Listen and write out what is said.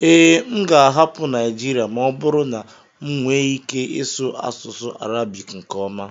ee, m ga-ahapụ Naijiria ma ọ bụrụ na m nwee ike ịsụ asụsụ Arabic nke ọma